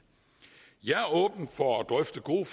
jeg er åben for at drøfte gode